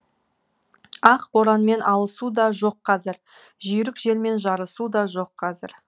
ақ боранмен алысу да жоқ қазір жүйрік желмен жарысу да жоқ қазір